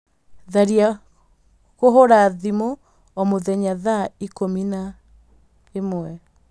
tharia gũhura thimũ o mũthenya thaa ikũmi na ĩmwe.